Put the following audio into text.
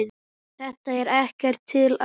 Þetta er ekkert til að.